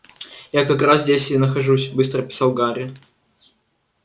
я как раз здесь и нахожусь быстро писал гарри